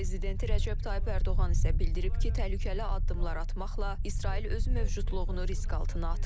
Türkiyə prezidenti Rəcəb Tayyib Ərdoğan isə bildirib ki, təhlükəli addımlar atmaqla İsrail öz mövcudluğunu risk altına atır.